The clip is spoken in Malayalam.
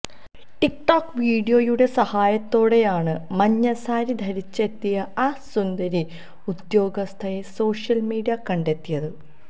ടിക് ടോക് വീഡിയോയുടെ സഹായത്തോടെയാണ് മഞ്ഞസാരി ധരിച്ചെത്തിയ ആ സുന്ദരി ഉദ്യോഗസ്ഥയെ സോഷ്യൽ മീഡിയ കണ്ടെത്തിയത്